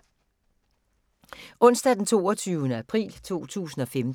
Onsdag d. 22. april 2015